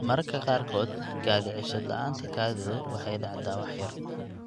Mararka qaarkood kaadi-ceshad la'aanta kaadidu waxay dhacdaa wax yar.